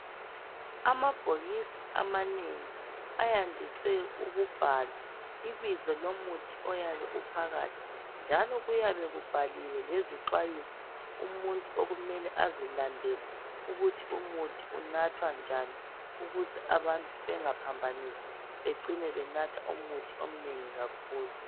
Amabhokisi amanengi ayandiswe ukubhalwa ibizo lomuthi oyabe uphakathi njalo kuyabe kubhaliwe lezixwayiso umuntu okumele azilandele ukuthi umuthi unathwa njani ukuze abantu bengaphamphanisi becine benatha umuthi omnengi kakhulu.